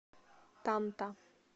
танта